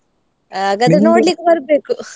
ಹಾಗಾದ್ರೆ ನೋಡ್ಲಿಕ್ಕೆ ಬರ್ಬೇಕು.